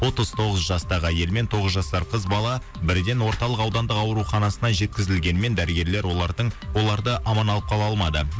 отыз тоғыз жастағы әйел мен тоғыз жасар қыз бала бірден орталық аудандық ауруханасына жеткізілгенімен дәрігерлер олардың оларды аман алып қала алмады